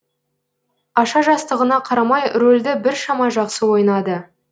аша жастығына қарамай рольді біршама жақсы ойнады